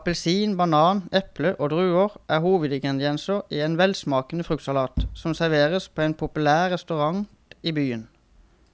Appelsin, banan, eple og druer er hovedingredienser i en velsmakende fruktsalat som serveres på en populær restaurant i byen.